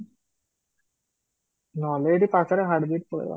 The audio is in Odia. ନହେଲେ ଏଇଠି ପାଖରେ ହାର୍ଦିକ ପଳେଇବା